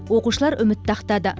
оқушылар үмітті ақтады